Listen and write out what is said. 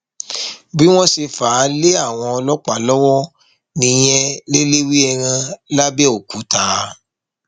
bí wọn ṣe fà á lé àwọn ọlọpàá lọwọ nìyẹn lẹlẹwẹẹran lápẹọkúta